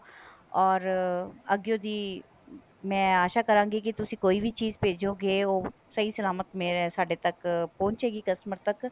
or ਅੱਗਿਓ ਦੀ ਮੈਂ ਆਸ਼ਾ ਕਰਾਂਗੀ ਕੀ ਤੁਸੀਂ ਕੋਈ ਵੀ ਚੀਜ਼ ਭੇਜੋਗੇ ਉਹ ਸਹੀ ਸਲਾਮਤ ਮੇਰੇ ਸਾਡੇ ਤੱਕ ਪਹੁੰਚੇਗੀ customer ਤੱਕ